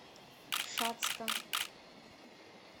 шацка